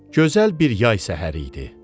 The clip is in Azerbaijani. Gözəl bir yay səhəri idi.